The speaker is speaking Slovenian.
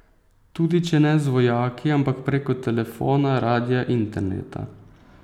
Tudi če ne z vojaki, ampak preko telefona, radia, interneta.